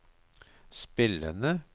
spillende